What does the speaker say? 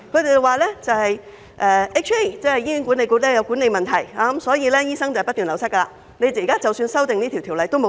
他們指出，醫管局有管理問題，所以醫生不斷流失，修訂這項條例也沒用。